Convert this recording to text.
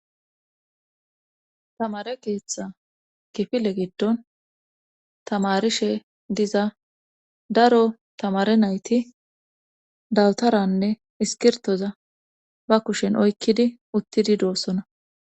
tamare keeththa file giddon tamarishe diza daro tamare nayti dawtaranne iskirtoza ba kushen oykkidi uttidi doossona